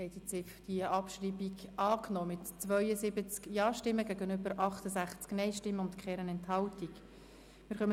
Sie haben die Ziffer 2 der Motion mit 99 Ja- gegen 42 Nein-Stimmen bei 0 Enthaltungen angenommen.